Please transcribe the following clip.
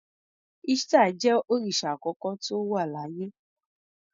Ishtar jẹ́ òrìsà àkọ́kọ́ tó wà láyé.